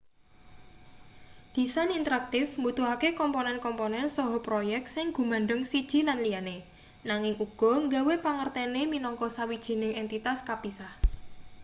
disain interaktif mbutuhake komponen komponen saha proyek sing gumandheng siji lan liyane nanging uga nggawe pangertene minangka sawijining entitas kapisah